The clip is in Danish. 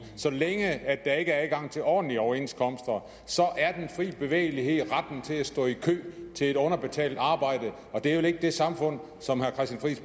så længe er adgang til ordentlige overenskomster så er den frie bevægelighed retten til at stå i kø til et underbetalt arbejde og det er vel ikke det samfund som